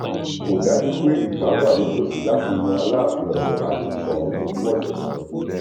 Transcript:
kò dájú pé ìfà wà nítòsí láti yan aláàfin ọyọ àti sòun ọgbọmọṣẹ tuntun